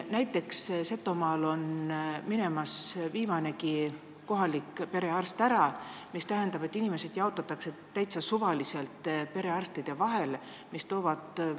Näiteks, Setomaal läheb viimanegi kohalik perearst minema, see aga tähendab, et inimesed jaotatakse täitsa suvaliselt arstide vahel ära.